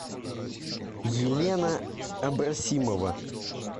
елена абросимова